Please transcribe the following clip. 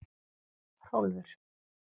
Hrólfur